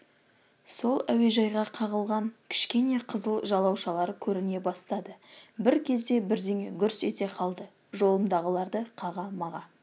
сол әуежайға қағылған кішкене қызыл жалаушылар көріне бастады бір кезде бірдеңе гүрс ете қалды жолымдағыларды қаға-маға